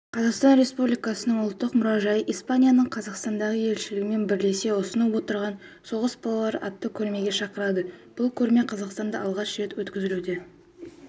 қазақстан республикасының ұлттық мұражайы испанияның қазақстандағы елшілігімен бірлесе ұсынып отырған соғыс балалары атты көрмеге шақырады бұл көрме қазақстанда алғаш рет өткізілуде